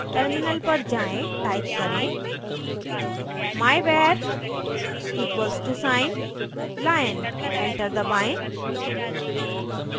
terminal पर जाएँ type करें myvar equal to sine lion enter दबाएं